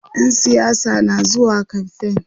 ƴan siyasa na zuwa kamfain